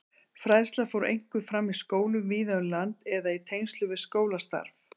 Fræðslan fór einkum fram í skólum víða um land eða í tengslum við skólastarf.